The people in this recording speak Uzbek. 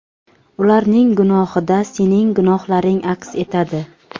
ularning gunohida sening gunohlaring aks etadi.